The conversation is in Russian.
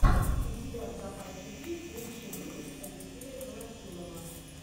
у тебя в запасе есть лучший выпуск алексея колотилова